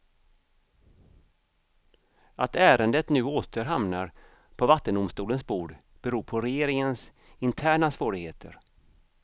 Att ärendet nu åter hamnar på vattendomstolens bord beror på regeringens interna svårigheter.